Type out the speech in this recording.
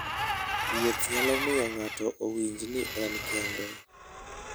Wuoth nyalo miyo ng'ato owinj ni en kende.